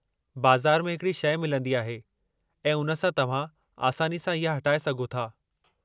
बज़ार में हिकड़ी शइ मिलंदी आहे, ऐं उन सां तव्हां आसानी सां इहा हटाए सघो था।